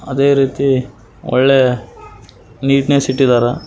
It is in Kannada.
ಅದೇ ರೀತಿ ಒಳ್ಳೆಯ ನೀಟ್ನೆಸ್ಸ್ ಇಟ್ಟಿದ್ದಾರೆ.